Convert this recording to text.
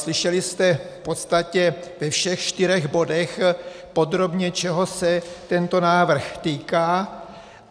Slyšeli jste v podstatě ve všech čtyřech bodech podrobně, čeho se tento návrh týká.